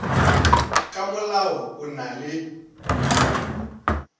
ka molao o na le